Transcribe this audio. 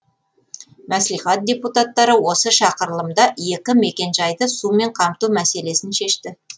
мәслихат депутаттары осы шақырылымда екі мекенжайды сумен қамту мәселесін шешті